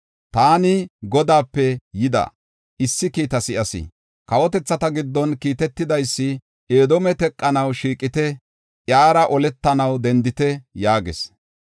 Taani Godaape yida issi kiita si7as. Kawotethata giddo kiitetidaysi, “Edoome teqanaw shiiqite; iyara oletanaw dendite” yaagis.